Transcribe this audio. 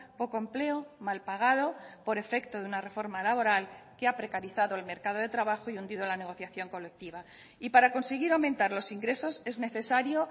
poco empleo mal pagado por efecto de una reforma laboral que ha precarizado el mercado de trabajo y hundido la negociación colectiva y para conseguir aumentar los ingresos es necesario